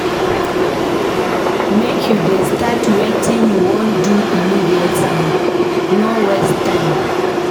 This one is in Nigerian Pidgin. Make you dey start wetin you wan do immediately, no waste tme.